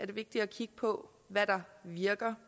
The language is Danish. vigtigt at kigge på hvad der virker